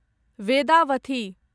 Vedavathi